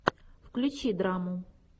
включи драму